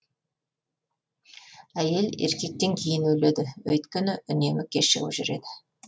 әйел еркектен кейін өледі өйткені үнемі кешігіп жүреді